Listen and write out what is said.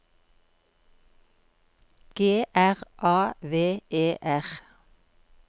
G R A V E R